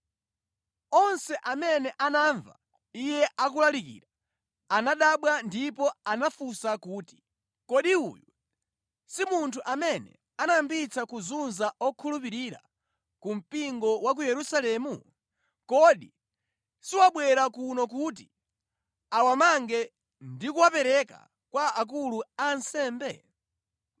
Onse amene anamva iye akulalikira anadabwa ndipo anafunsa kuti, “Kodi uyu si munthu amene anayambitsa kuzunza okhulupirira ku mpingo wa ku Yerusalemu? Kodi siwabwera kuno kuti awamange ndi kuwapereka kwa akulu a ansembe?”